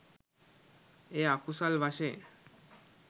එය අකුසල් වශයෙන්